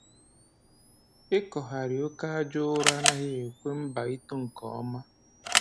Ịkọgharị oke aja ụrọ anaghị ekwe mba ito nke ọma